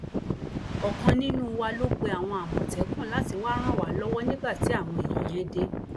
ọkan nínú wa ló pe àwọn àmọtẹkùn láti wàá ràn wá lọwọ nígbà tí àwọn èèyàn yẹn dé